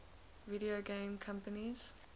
video game companies